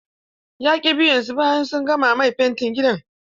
Ya ƙi biyan su bayan sun gama mai fentin gida.